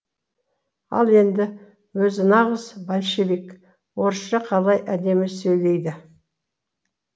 ал енді өзі нағыз большевик орысша қалай әдемі сөйлейді